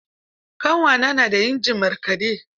Ƙanwata na da injin markaɗe.